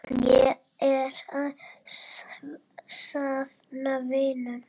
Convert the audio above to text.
Ég er að safna vinum.